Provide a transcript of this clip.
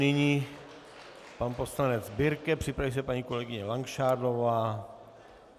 Nyní pan poslanec Birke, připraví se paní kolegyně Langšádlová.